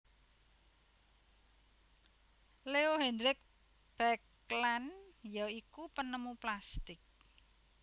Leo Hendrik Baekeland ya iku penemu plastik